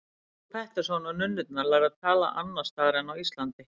Frú Pettersson og nunnurnar lærðu að tala annars staðar en á Íslandi.